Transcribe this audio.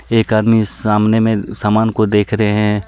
एक आदमी सामने में सामान को देख रहे है।